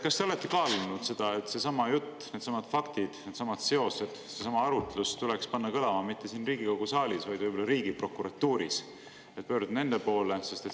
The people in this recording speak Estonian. Kas te olete kaalunud seda, et seesama jutt, needsamad faktid, needsamad seosed, seesama arutlus tuleks panna kõlama mitte siin Riigikogu saalis, vaid võib-olla riigiprokuratuuris, et pöörduda nende poole?